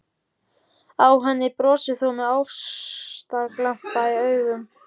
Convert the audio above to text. Á henni brosir þú með ástarglampa í augum.